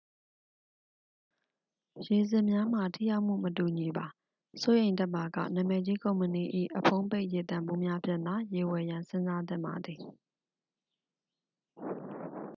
ရေစစ်များမှာ ထိရောက်မှု မတူညီပါ စိုးရိမ်တတ်ပါက နာမည်ကြီး ကုမ္ပဏီ၏ အဖုံးပိတ်ရေသန့်ဘူးများဖြင့်သာ ရေဝယ်ရန်စဉ်းစားသင့်ပါသည်